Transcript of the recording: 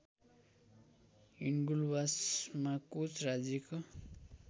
हिन्गुलवासमा कोच राज्यको